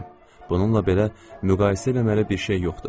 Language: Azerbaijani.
Bununla belə, müqayisə eləməyə bir şey yoxdur.